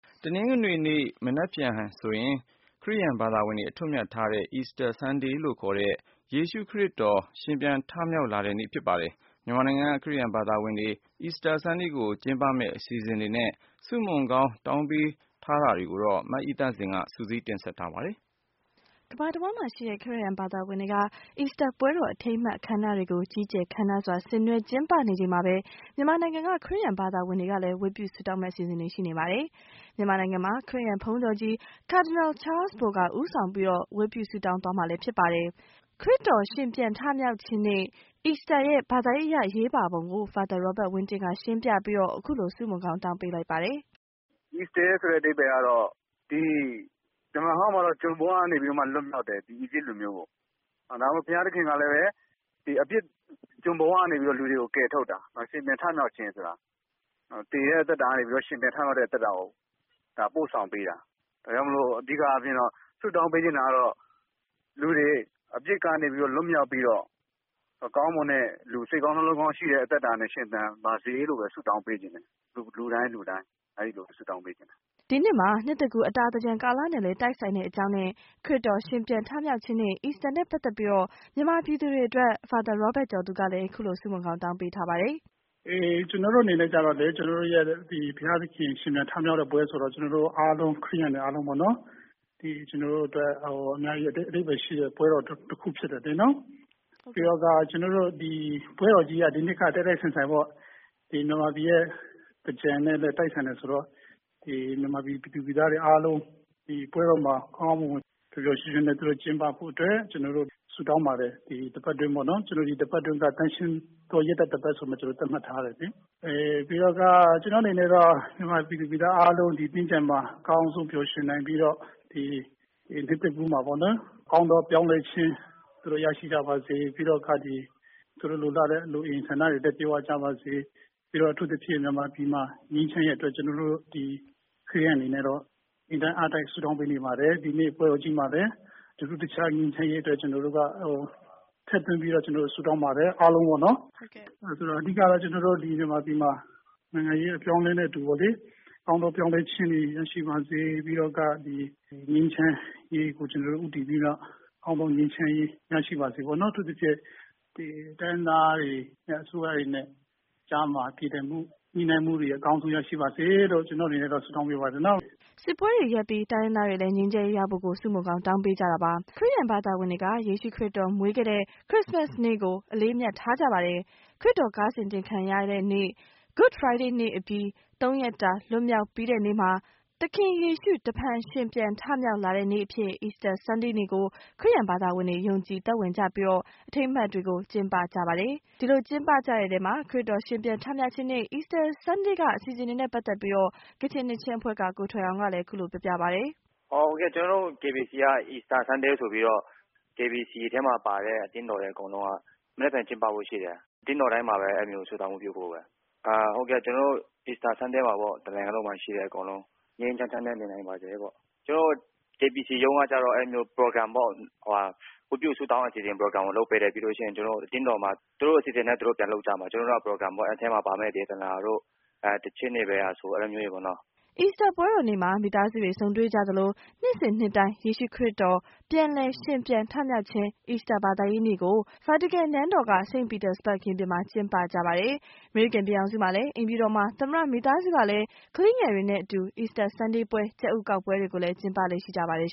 တနင်္ဂနွေနေ့ဟာဆိုရင် ခရစ်ယာန်ဘာသာဝင်တွေ အထွဋ်အမြတ်ထားတဲ့ Easter Sunday နေ့ လို့ခေါ်တဲ့ ယေရှု ခရစ်တော် ရှင်ပြန်ထမြောက် လာတဲ့နေ့ ဖြစ်ပါတယ်။ မြန်မာနိုင်ငံက ခရစ်ယာန်ဘာသာဝင်တွေက Easter Sunday ကို ကျင်းပမယ့်အစီအစဉ်တွေနဲ့ ဆုမွန်ကောင်းတောင်းပေးထားတာတွေကို မအိသန့်စင်က ဆက်သွယ်မေးမြန်းထားပါတယ်။ ကမ္ဘာတဝှမ်းမှာရှိတဲ့ ခရစ်ယာန်ဘာသာဝင်တွေက Easter ပွဲတော်အထိမ်းအမှတ် အခမ်းအနားတွေကို ကြီးကျယ်ခမ်းနားစွာ ဆင်နွှဲကျင်းပနေချိန် မြန်မာနိုင်ငံမှာလည်း ခရစ်ယာန်ဘုန်းတော်ကြီး Cardinal Charles Bo က ဦးဆောင်ပြီး ဝတ်ပြုဆုတောင်းသွားမှာ ဖြစ်ပါတယ်။ ခရစ်တော် ရှင်ပြန်ထမြောက်ခြင်းနေ့ Easter ရဲ့ ဘာသာရေးအရ အရေးပါပုံကို Father Robert ဝင်းတင်က ရှင်းပြပြီးတော့ ခုလို ဆုမွန်ကောင်းတောင်းပေးလိုက်ပါတယ်။ “Easter ရဲ့အဓိပ္ပါယ်ကတော့ ဓမ္မဟောင်းမှာတော့ ကျွန်ဘဝကနေ လွှတ်မြောက်တယ် အီဂျစ်လူမျိုးကို၊ ဒါကြောင့်ဘုရားသခင်ကလည်း ဒီအပြစ်ကျွန်ဘဝကနေပြီးတော့ လူတွေကို ကယ်ထုတ်တာ။ ရှင်ပြန်ထမြောက်ခြင်းဆိုတာက သေတဲ့အသက်တာကနေပြီးတော့ ရှင်ပြန်ထမြောက်တဲ့အသက်တာကိုပို့ဆောင်ပေးတာ ဒါကြောင့်မို့လို့ အဓိကအားဖြင့်တော့ ဆုတောင်းပေးချင်တာကတော့ လူတွေအပြစ်ကနေပြီးတော့ လွတ်မြောက်ပြီးတော့ ကောင်းမွန်တဲ့ စိတ်ကောင်းနှလုံးကောင်းရှိတဲ့အသက်တာနဲ့ ရှင်သန်ပါစေလို့ လူတိုင်းလူတိုင်းကို ဆုတောင်းပေးချင်ပါတယ်။” ဒီနှစ်မှာ နှစ်သစ်ကူးအတာသင်္ကြန်ကာလနဲ့လည်း တိုက်ဆိုက်တဲ့အကြောင်းနဲ့ ခရစ်တော် ရှင်ပြန်ထမြောက်ခြင်းနေ့Easter နဲ့ ပတ်သက်ပြီး မြန်မာပြည်သူတွေအတွက် Father Robert ကျော်သူက ခုလို ဆုမွန်ကောင်းတောင်းပေးထားပါတယ်။ “ကျနေ်ာတို့အနေနဲ့ကျတော့လည်း ဘုရားသခင်ရှင်ပြန်ထမြောက်တဲ့ပွဲဆိုတော့ ကျနော်တို့အားလုံး ခရစ်ယာန်တွေအားလုံးအတွက်အင်မတန်အဓိပ္ပါယ်ရှိတဲ့ပွဲတော်တခုဖြစ်တယ်။ ပြီးတော့ ဒီနှစ်က တိုက်တိုက်ဆိုင်ဆိုင် မြန်မာပြည်ရဲ့ သင်္ကြန်နဲ့လည်းတိုက်ဆိုင်တယ်ဆိုတော့ မြန်မာပြည်သူပြည်သားတွေအားလုံးပွဲတော်မှာ ကောင်းကောင်းမွန်မွန် ပျော်ပျော်ရွှင်ရွှင်နဲ့ ကျင်းပဖို့အတွက် ကျနေ်ာတို့ ဆုတောင်းပါတယ်။ ဒီတပတ်ကတော့ ကျနေ်ာတို့ သန့်ရှင်းသောရက်သတ္တပတ်ဆိုပြီးမှ ကျနေ်ာတို့ သတ်မှတ်ထားတယ်။ ကျနေ်ာ့အနေနဲ့ကမြန်မာပြည်သူပြည်သားတွေအားလုံး ဒီသင်္ကြန်မှာ အကောင်းဆုံးပျော်ရွင်နိုင်ပြီးတော့ ဒီနှစ်သစ်ကူးမှာ ကောင်းသောပြောင်းလဲခြင်းသူတို့ရရှိကြပါစေ ၊ ပြီးတော့ လိုအင်ဆန္ဒတွေလည်း ပြည့်ဝပါစေ ပြီးတော့ အထူးသဖြင့် မြန်မာပြည်မှာ ငြိမ်းချမ်းရေးအတွက် ကျနေ်ာတို့ ခရစ်ယာန်တွေအနေနဲ့ကတော့ အင်တိုက်အားတိုက်ဆုတောင်းပေးနေပါတယ်။ ဒီနှစ်ပွဲမှာလည်း ထူးထူးခြားခြားငြိမ်းချမ်းရေးအတွက် ထူးထူးခြားခြားထည့်သွင်းပြီးတော့ ဆုတောင်းပါတယ် ကျနေ်ာတို့အားလုံးပေါ့နော် ။ ဆိုတော့ အဓိကတော့ ကျနော်တို့ မြန်မာပြည်မှာ နိုင်ငံရေးအပြောင်းအလဲနဲ့ အတူပေါ့လေ ကောင်းသောပြောင်းလဲခြင်းတွေရရှိပါစေ၊ ပြီးတော့ ငြိမ်းချမ်းရေးကို ကျနော်တို့ ဦးတည်ပြီးတော့ ကောင်းသောငြိမ်းချမ်းရေး ရရှိပါစေပေါ့နော်။ အထူးသဖြင့်ကတော့ တိုင်းရင်းသားတွေ နဲ့ အစိုးရတွေကြားမှာ ပြေလည်မှု ညှိနှိုင်းမှုတွေအကောင်းဆုံးရရှိပါစေလို့ ကျနေ်ာ့အနေနဲ့ ဆုတောင်းပေးပါတယ်။” စစ်ပွဲတွေ ရပ်ပြီး တိုင်းရင်းသားတွေလည်း ငြိမ်းချမ်းရေးရဖို့ကိုလည်း ဆုမွန်ကောင်း တောင်းပေးကြပါတယ်။ ခရစ်ယာန်ဘာသာဝင်တွေက ယေရှုခရစ်တော်မွေးတဲ့နေ့ ခရစ်စမတ်နေ့ကို အလေးအမြတ်ထားကြသလို ခရစ်တော် ကားစင် တင်ခံရတဲ့နေ့ Good Friday နေ့အပြီး သုံးရက်တာ လွန်မြောက်ပြီးတဲ့နေ့မှာ သခင်ယေရှု တဖန်ရှင်ပြန် ထမြောက်လာတဲ့နေ့အဖြစ် Easter Sunday နေ့ကို ခရစ်ယာန်ဘာသာဝင်တွေက ယုံကြည်သက်ဝင်ကြပြီး အထိမ်းအမှတ်တွေကို ကျင်းပကြတာဖြစ်တယ်။ ဒီလို Easter Sunday မှာ ကျင်းပမယ့်အစီအစဉ်တွေနဲ့ ပတ်သက်ပြီးကချင်နှစ်ချင်းအဖွဲ့က ကိုထွယ်အောင်က ခုလို ပြောပြပါတယ်။ “ကျနေ်ာတို့ KBC က Easter Sunday ဆိုပြီးတော့ KBC ထဲမှာပါတဲ့ အသင်းတော်တွေက မနက်ဖြန်ကျင်းပဖို့ရှိတယ်။ အသင်းတော်တိုင်းမှာလည်း ဆုတောင်းဝတ်ပြုဖို့ပဲ ။ Easter Sundayမှာတော့ တနိုင်ငံလုံးမှာရှိတဲ့လူတွေအားလုံး ငြိမ်းငြိမ်းချမ်းချမ်းနဲ့ နေနိုင်ပါစေလို့။ ကျနော်တို့ KBC ကတော့ Program ပေါ့နော် ဝတ်ပြုဆုတောင်းဖို့ အစီအစဉ်လုပ်ပေးတယ်။ ပြီးတော့ အသင်းတော်မှာ သူတို့အစီအစဉ်နဲ့ ပြန်လုပ်ကြမှာ အဲဒီ Program ထဲမှာပါမယ့် ဒေသနာတို့ ၊ သီချင်းတို့ပေါ့နော်။” Easter ပွဲတော်နေ့မှာ မိသားစုတွေ ဆုံတွေ့ကြသလို နှစ်စဉ်နှစ်တိုင်း ယေရှုခရစ်တော် ပြန်လည် ရှင်ပြန်ထမြောက်ခြင်း Easter ဘာသာရေးနေ့ ကို ဗာတီကန် နန်းတော်က St. Peter Square မှာ ကျင်းပကြသလို အမေရိကန်ပြည်ထောင်စုမှာလည်း အိမ်ဖြူတော်မှာ သမ္မတ မိသားစုကလည်း ကလေးငယ်တွေနဲ့အတူ အီစတာဆန်းဒေးပွဲတော် ကြက်ဥကောက်ပွဲတွေကိုလည်း ကျင်းပလေ့ရှိပါတယ်